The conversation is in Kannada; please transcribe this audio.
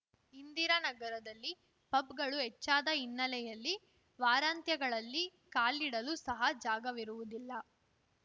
ಇಂದಿರಾನಗರದಲ್ಲಿ ಪಬ್‌ಗಳು ಹೆಚ್ಚಾದ ಹಿನ್ನೆಲೆಯಲ್ಲಿ ವಾರಾಂತ್ಯಗಳಲ್ಲಿ ಕಾಲಿಡಲು ಸಹ ಜಾಗವಿರುವುದಿಲ್ಲ